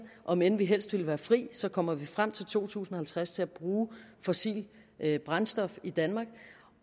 om end vi helst ville være fri så kommer vi frem til to tusind og halvtreds til at bruge fossilt brændstof i danmark